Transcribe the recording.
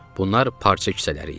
Bunlar parça kisələri idi.